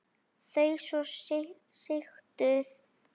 Þau svo sigtuð.